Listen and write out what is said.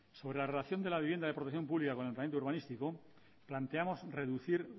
sobre la relación de la vivienda de protección pública con el planeamiento urbanístico planteamos reducir